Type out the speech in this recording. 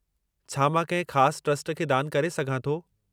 छा मां कंहिं ख़ासि ट्रस्ट खे दान करे सघां थो?